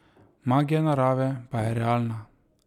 Magija narave pa je realna.